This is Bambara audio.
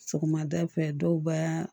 Sɔgɔmada fɛ dɔw b'a